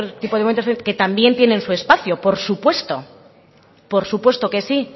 otro tipo de movimientos que también tienen su espacio por supuesto por supuesto que sí